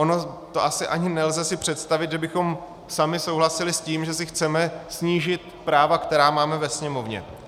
Ono to asi ani nelze si představit, že bychom sami souhlasili s tím, že si chceme snížit práva, která máme ve Sněmovně.